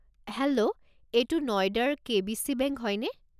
Hello, এইটো নইডাৰ KBC. Bank হয়নে?